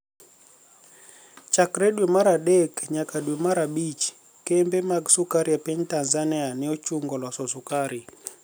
Chakre dwe mar adek niyaka dwe mar abich kembe mag sukari e piniy Tanizaniia ni e ochunigo loso sukari.